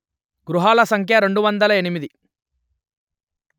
గృహాల సంఖ్య రెండు వందలు ఎనిమిది